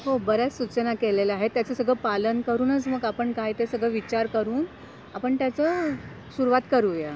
हो बऱ्याच सूचना केलेल्या आहेत त्याचं सगळ पालन करूनच मग आपण काय ते सगळा विचार करून आपण त्याच सुरुवात करूया.